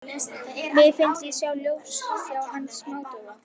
Mér fannst ég sjá lífsljós hans smádofna.